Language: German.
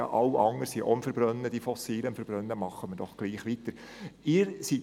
«Alle anderen verbrennen auch Fossilien, also machen wir doch gleich weiter wie bisher.